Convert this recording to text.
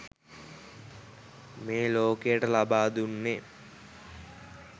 මේ ලෝකයට ලබා දුන්නෙ.